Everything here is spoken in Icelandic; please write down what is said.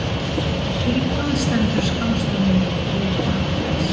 Fyrir hvað stendur skammstöfunin DAS?